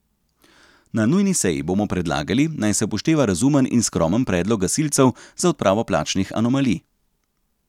Na nujni seji bomo predlagali, naj se upošteva razumen in skromen predlog gasilcev za odpravo plačnih anomalij.